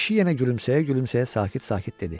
Kişi yenə gülümsəyə-gülümsəyə sakit-sakit dedi: